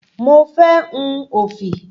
Mo fé hun òfì.